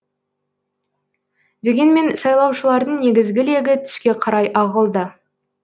дегенмен сайлаушылардың негізгі легі түске қарай ағылды